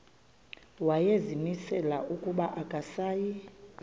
wayezimisele ukuba akasayi